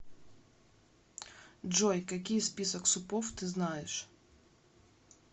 джой какие список супов ты знаешь